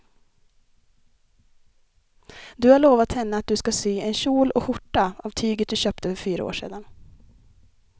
Du har lovat henne att du ska sy en kjol och skjorta av tyget du köpte för fyra år sedan.